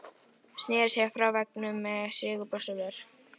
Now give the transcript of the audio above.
Sneri sér frá veggnum með sigurbros á vör.